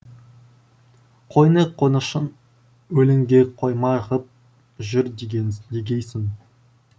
қойны қонышын өлеңге қойма ғып жүр деген дегейсің